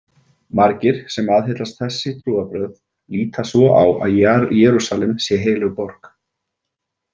Margir sem aðhyllast þessi trúarbrögð líta svo á að Jerúsalem sé heilög borg.